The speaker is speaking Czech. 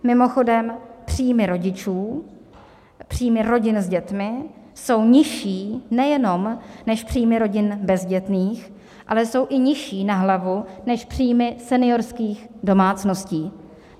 Mimochodem příjmy rodičů, příjmy rodin s dětmi jsou nižší nejenom než příjmy rodin bezdětných, ale jsou i nižší na hlavu než příjmy seniorských domácností.